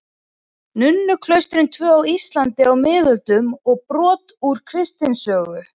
Nunnuklaustrin tvö á Íslandi á miðöldum og brot úr kristnisögu.